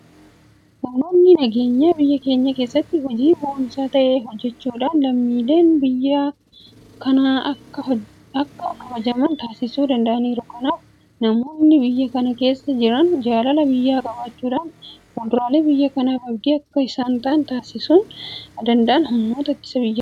Humnoonni nageenyaa biyya keenya keessatti hojii boonsaa ta'e hojjechuudhaan lammiileen biyya kanaa akka kabajaman taasisuu danda'aniiru. Kanaaf namoonni biyya kana keessa jiran jaalala biyyaa qabaachuudhaan fuulduree biyya kanaaf abdii akka isaan ta'an taasisuu kan danda'an humnoota ittisa biyyaati.